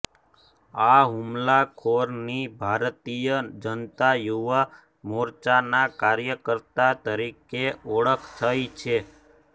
આ હુમલાખોરની ભારતીય જનતા યુવા મોરચાના કાર્યકર્તા તરીકે ઓળખ થઈ છે